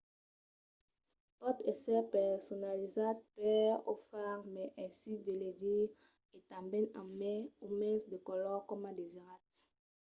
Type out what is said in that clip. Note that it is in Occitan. pòt èsser personalizat per o far mai aisit de legir e tanben amb mai o mens de color coma o desiratz